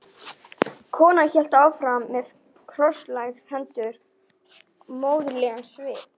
Konan hélt áfram með krosslagðar hendur og móðurlegan svip.